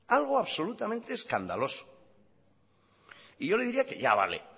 algo absolutamente escandaloso y yo le diría que ya vale